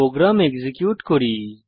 programme execute করি